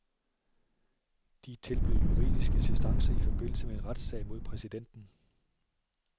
De tilbød juridisk assistance i forbindelse med en retssag mod præsidenten.